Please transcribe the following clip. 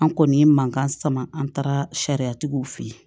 An kɔni ye mankan sama an taara sariyatigiw fe yen